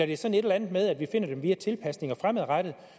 det sådan et eller andet med at vi finder dem via tilpasninger fremadrettet